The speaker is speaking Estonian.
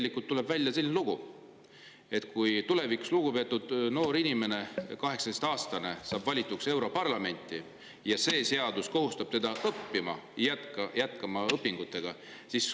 Ja nüüd tuleb välja selline lugu, et kui tulevikus lugupeetud noor, 18-aastane inimene saab valituks europarlamenti, siis see seadus kohustab teda jätkama õpinguid.